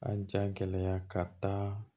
A ja gɛlɛya ka taa